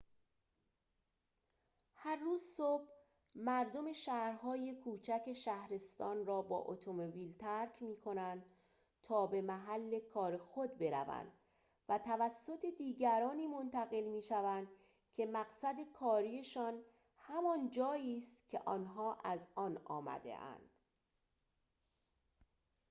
هر روز صبح مردم شهرهای کوچک شهرستان را با اتومبیل ترک می‌کنند تا به محل کار خود بروند و توسط دیگرانی منتقل می‌شوند که مقصد کاری‌شان همان جایی است که آنها از آن آمده‌اند